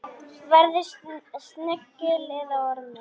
Verði snigill eða ormur.